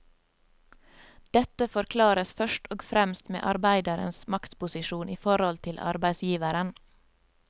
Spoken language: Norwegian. Dette forklares først og fremst med arbeiderens maktposisjon i forhold til arbeidsgiveren.